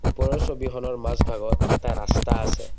ওপৰৰ ছবিখনৰ মাজ ভাগত এটা ৰাস্তা আছে।